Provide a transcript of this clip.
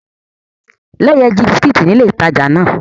Leye ji bisikiti ni ile itaja náà